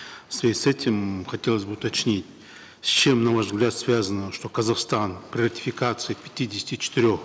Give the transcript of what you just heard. в связи с этим хотелось бы уточнить с чем на ваш взгляд связано что казахстан при ратификации пятидесяти четырех